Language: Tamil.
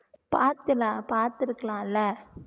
பாத்துல பார்த்துருக்கலால